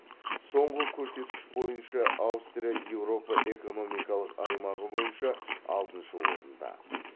соңғы көрсеткіш бойынша аустрия еуропа экономикалық аймағы бойынша алтыншы орында